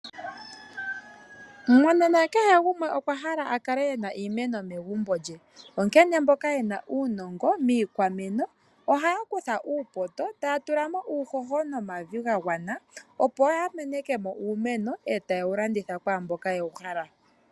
Monena kehe gumwe okwa hala akale ena iimeno megumbo lye. Onkene mboka yena uunongo miikwameno ohaya kutha uupoto taya tula mo uuhoho nomavi ga gwana opo ya meneke mo uumeno etaye wu landitha kwaamboka yewu hala.